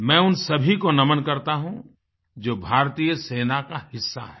मैं उन सभी को नमन करता हूँ जो भारतीय सेना का हिस्सा हैं